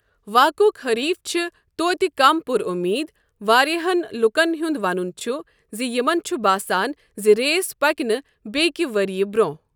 واقعک حٔریٖف چھِ توتہِ کم پُر اُمیٖد، واریٛاہَن لوٗکَن ہُنٛد ونُن چھُ زِ یِمَن چھُ باسان زِ ریس پَکہِ نہٕ بیٛکہِ ؤرۍ یہِ برٛونٛہہ۔